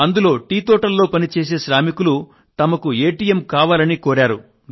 అందులో టీ తోటల్లో పనిచేసే శ్రామికులు తమకు ఎటిఎమ్ కావాలని కోరారు